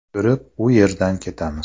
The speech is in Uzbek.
Ko‘rib, u yerdan ketamiz.